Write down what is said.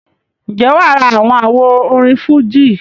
ǹjẹ́ wà á ra àwọn àwo orin fújì?